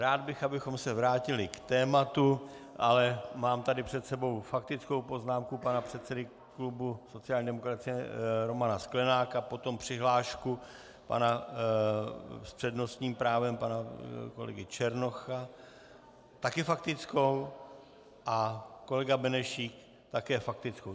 Rád bych, abychom se vrátili k tématu, ale mám tady před sebou faktickou poznámku pana předsedy klubu sociální demokracie Romana Sklenáka, potom přihlášku s přednostním právem pana kolegy Černocha - také faktickou? - a kolega Benešík také faktickou.